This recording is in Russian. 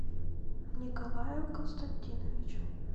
николаю константиновичу